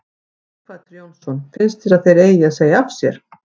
Sighvatur Jónsson: Finnst þér að þeir eigi að segja af sér?